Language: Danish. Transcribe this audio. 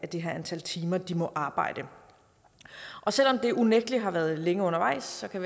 det her antal timer de må arbejde selv om det unægtelig har været længe undervejs kan